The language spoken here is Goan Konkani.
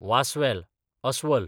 वांस्वेल, अस्वल